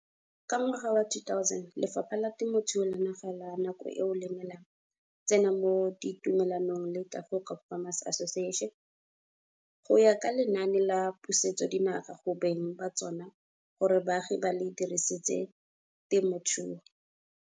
Ka ngwaga wa 2000, Lefapha la Temothuo la naga la nako eo le ne la tsena mo ditumelanong le Tafelkop Farmers Association go ya ka Lenaane la Pusetsodinaga go Beng ba Tsona gore Baagi ba le Dirisetse Temothuo.